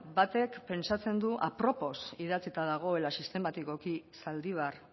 beno batek pentsatzen du apropos idatzita dagoela sistematikoki zaldibar